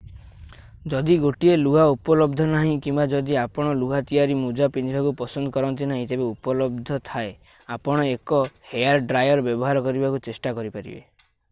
ଯଦି ଗୋଟିଏ ଲୁହା ଉପଲବ୍ଧ ନାହିଁ କିମ୍ବା ଯଦି ଆପଣ ଲୁହା ତିଆରି ମୋଜା ପିନ୍ଧିବାକୁ ପସନ୍ଦ କରନ୍ତି ନାହିଁ ତେବେ ଉପଲବ୍ଧ ଥାଏ ଆପଣ ଏକ ହେୟାର ଡ୍ରାୟର୍ ବ୍ୟବହାର କରିବାକୁ ଚେଷ୍ଟା କରିପାରିବେ